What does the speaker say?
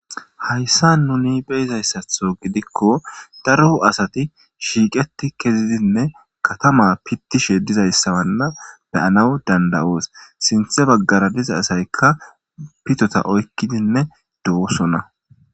Haysan nuni be7izaysatho gidiko daro asati issipe gididi oge lanqe pitishe dizayssa be7anaw danda7etees sinthe baggara de7iza asay pitota oykidi de7osona.